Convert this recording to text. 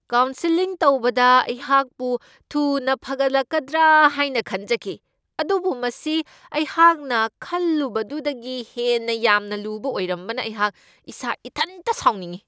Counselling ꯇꯧꯕꯅ ꯑꯩꯍꯥꯛꯄꯨ ꯊꯨꯅ ꯐꯒꯠꯂꯛꯀꯗ꯭ꯔꯥ ꯍꯥꯏꯅ ꯈꯟꯖꯈꯤ, ꯑꯗꯨꯕꯨ ꯃꯁꯤ ꯑꯩꯍꯥꯛꯅ ꯈꯜꯂꯨꯕꯗꯨꯗꯒꯤ ꯍꯦꯟꯅ ꯌꯥꯝꯅ ꯂꯨꯕ ꯑꯣꯏꯔꯝꯕꯅ ꯑꯩꯍꯥꯛ ꯏꯁꯥ ꯏꯊꯟꯗ ꯁꯥꯎꯅꯤꯡꯢ ꯫